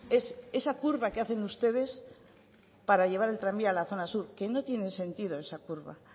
es esa curva que hacen ustedes para llevar el tranvía a la zona sur que no tiene sentido esa curva